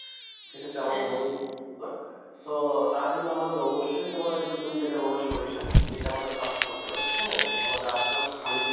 সে ক্ষেত্রে আমাদের মধু তো তার জন্যে আমাদের অবশ্যই তোমার ঐ তুমি যেটা বললা সরিষা এটা আমাদের চাষ করতে হবে হ্যাঁ আমাদের আশেপাশে খালি যায়